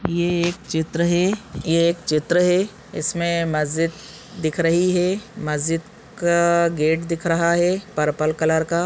ये एक चित्र है ये एक चित्र है इसमे मजीद दिख रही है मजीद का गेट दिख रहा है पर्पल कलर का--